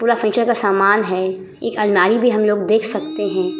पूरा फ्यूचर का सामान है एक अलमारी भी हम लोग देख सकते हैं।